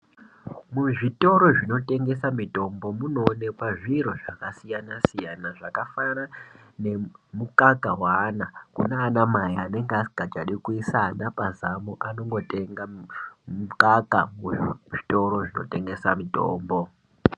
Muzvitoro zvinotengesa mitombo munoonekwa zviro zvakasiyana siyana zvakafanana nemukaka weana kunaanamai anenge asingachadi kuisa ana pazamo anongotenga mukaka muzvitoro zvinotengesa mitombo.